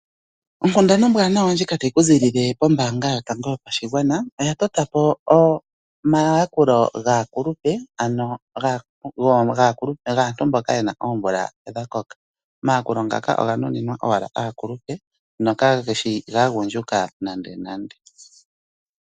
Onkunda ombwanawa ondjika tayi ku ziilile kombaanga yotango yopashigwana. Oya totapo omayakulo gaakulupe gaantu mboka ye na omvula dha koka. Omayakulo ngaka oga nuninwa owala aakulupe nokage shi gaagundjuka nande nande.